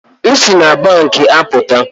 M si na banki apụta